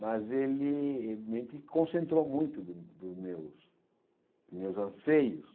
Mas ele, concentrou muito dos meus meus anseios.